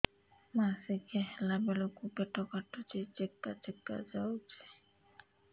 ମାସିକିଆ ହେଲା ବେଳକୁ ପେଟ କାଟୁଚି ଚେକା ଚେକା ଯାଉଚି